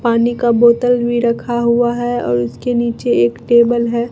पानी का बोतल भी रखा हुआ है और उसके नीचे एक टेबल है।